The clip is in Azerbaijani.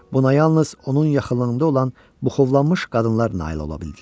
Buna yalnız onun yaxınlığında olan buxovlanmış qadınlar nail ola bildilər.